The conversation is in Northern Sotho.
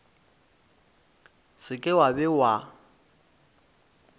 se ke wa be wa